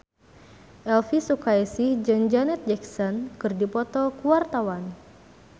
Elvi Sukaesih jeung Janet Jackson keur dipoto ku wartawan